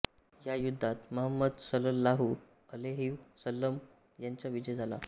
या युद्धात महंमदसलललाहु अलैहिव सल्लम यांचा विजय झाला